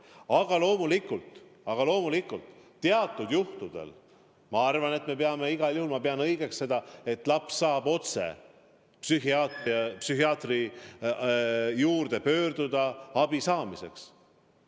Aga loomulikult ma pean õigeks seda, et teatud juhtudel laps saab otse psühhiaatri poole pöörduda abi saamiseks.